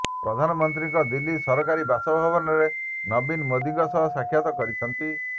ପ୍ରଧାନମନ୍ତ୍ରୀଙ୍କ ଦିଲ୍ଲୀ ସରକାରୀ ବାସଭବନରେ ନବୀନ ମୋଦିଙ୍କ ସହ ସାକ୍ଷାତ କରିଛନ୍ତି